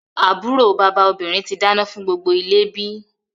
Àbúrò bàbá obìnrin tí dáná fún gbogbo ilé bí?